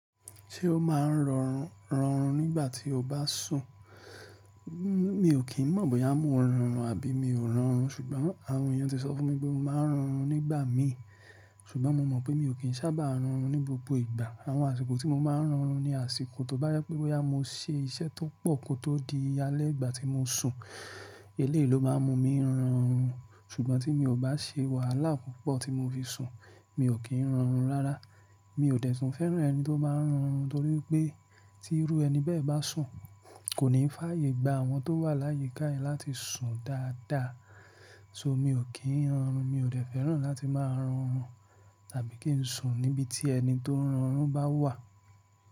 Ṣé o máa ń rorun nígbà tí o bá sùn? Mi ò kí n mọ̀ bóyá mo ń rorun àbí mi ò rorun ṣùgbọ́n àwọn èèyàn ti sọ fún mi pé mo máa ń rorun nígbà míì ṣùgbọ́n mo mọ̀ pé mi ò kín sábà rorun ní gbogbo ìgbà. Àwọn àsìkò tí mo máa ń rorun ni àsìkò tó bá yá pé bóyá mo se iṣẹ́ tó pọ̀ kó tó di alẹ́ ìgbà tí mo sùn, eléyii lo máa mú mi rorun ṣùgbọ́n tí mi ò bá se wàhálà púpọ̀ tí mo fi sùn, mi ò kí ń rorun rárá. Mi ò dẹ̀tún fẹ́ràn ẹni tó bá ń rorun nítorí wipé tí irú ẹni bẹ́ẹ̀ bá sùn, kò ní fáàyè gba àwọn tó wà láyi káẹ láti sùn dáadáa. So mi ò kí ń ọnrun, mi ò dẹ̀ fẹ́ràn láti máa rorun tàbí kí n sùn níbi tí ẹni tó ń rorun bá wà.